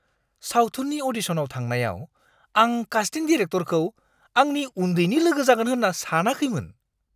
सावथुननि अ'डिशनाव थांनायाव आं कास्टिं डिरेक्टरखौ आंनि उन्दैनि लोगो जागोन होन्ना सानाखैमोन!